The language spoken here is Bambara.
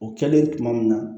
O kɛlen tuma min na